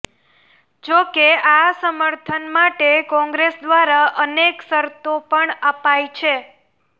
જો કે આ સમર્થન માટે કોંગ્રેસ દ્વારા અનેક શર્તો પણ અપાઈ છે